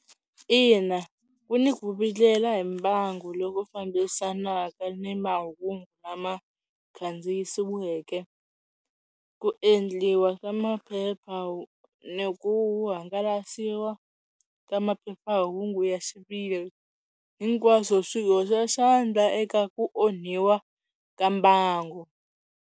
Ina ku ni ku vilela hi mbangu loku fambisanaka ni mahungu lama kandziyisiweke ku endliwa ka maphepha ni ku hangalasiwa ka maphephahungu ya xiviri hinkwaswo swi hoxa xandla eka ku onhiwa ka mbangu.